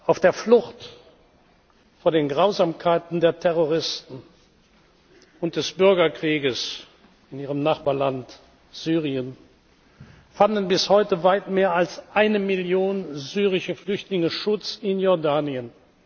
Auf der Flucht vor den Grausamkeiten der Terroristen und des Bürgerkrieges in Ihrem Nachbarland Syrien fanden bis heute weit mehr als eine Million syrische Flüchtlinge Schutz in Jordanien.